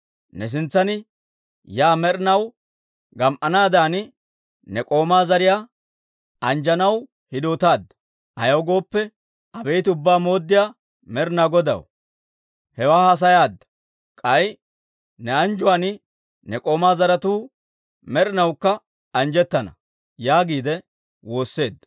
Ne sintsan yaa med'inaw gam"anaadan, ne k'oomaa zariyaa anjjanaw hidootaadda. Ayaw gooppe, Abeet Ubbaa Mooddiyaa Med'inaa Godaw, hewaa haasayaadda; k'ay ne anjjuwaan ne k'oomaa zaratuu med'inawukka anjjettana» yaaga wotsaadda.